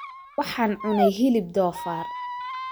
Waxaan cunay hilib doofaar